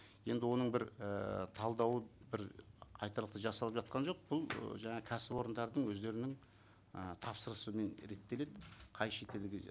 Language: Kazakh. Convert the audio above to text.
енді оның бір ііі талдауы бір айтарлықтай жасалып жатқан жоқ бұл жаңа кәсіпорындардың өздерінің ы тапсырысымен реттеледі қай шетелге